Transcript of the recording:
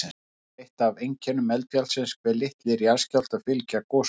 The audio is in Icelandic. Það er eitt af einkennum eldfjallsins hve litlir jarðskjálftar fylgja gosunum.